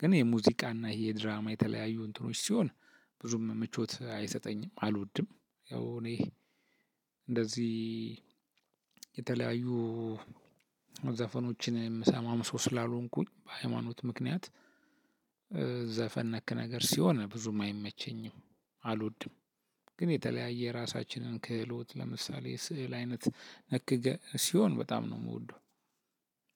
ግን የሙዚቃና ይሄ የድራማ የተለያዩ እንትኖች ሲሆን ብዙም ምቾት አይሰጠኝም አልወድም። ያው እኔ እንደዚህ የተለያዩ ዘፈኖችን እምሰማም ሰው ስላልሆንኩኝ በሃይማኖት ምክንያት ዘፈን ነክ ነገር ሲሆን ብዙም አይመቸኝም አልወድም። ግን የተለያየ ራሳችንን ክህሎት ለምሳሌ ስዕል አይነት ነክ ሲሆን በጣም ነው እምወደው።